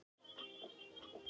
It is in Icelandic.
Samtals Heimavöllur Útivöllur